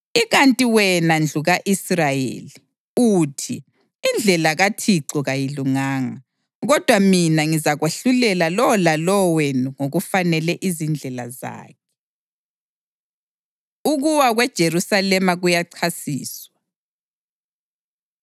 Ikanti, wena ndlu ka-Israyeli, uthi, ‘Indlela kaThixo kayilunganga.’ Kodwa mina ngizakwahlulela lowo lalowo wenu ngokufanele izindlela zakhe.” Ukuwa KweJerusalema Kuyachasiswa